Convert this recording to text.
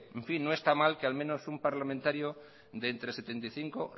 no está mal que al menos un parlamentario de entre setenta y cinco